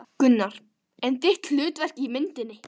Gunnar: En þitt hlutverk í myndinni?